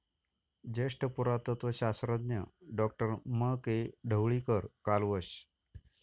ज्येष्ठ पुरातत्त्व शास्त्रज्ञ डॉ. म.के.ढवळीकर कालवश